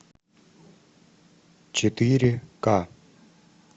четыре ка